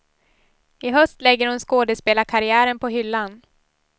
I höst lägger hon skådespelarkarriären på hyllan.